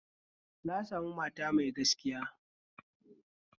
Na sami mata mai gaskiya